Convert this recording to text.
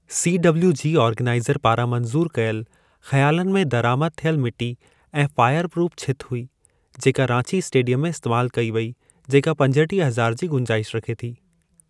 CWG organiser पारां मंजूरु कयल ख़यालनि में दरआमद थियल मिटी ऐं फ़ायर प्रूफ़ छिति हुई जेका रांची इस्टेडियम में इस्तेमाल कई वई जेका पंजटीह हज़ारु जी गुंजाइश रखे थी।